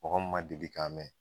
Mɔgɔ min man deli k'a mɛn.